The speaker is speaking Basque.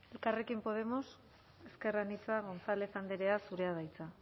elkarrekin podemos ezker anitza gonzález andrea zurea da hitza